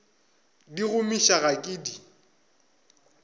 di gomiša ga ke di